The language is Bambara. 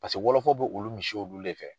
Paseke wɔlɔfɔ bɛ olu misiw olu de fɛ.